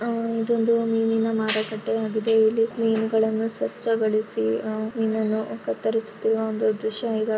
ಆಹ್ ಇದೊಂದು ಮೀನಿನ ಮಾರುಕಟ್ಟೆ ಆಗಿದೆ ಇಲ್ಲಿ ಮೀನುಗಳನ್ನು ಸ್ವಚ್ಛಗೊಳಿಸಿ ಮೀನನ್ನು ಕತ್ತರಿಸುತ್ತಿರುವ ಒಂದು ದೃಶ್ಯ ಇರ್ --